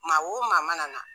Maa o maa mana na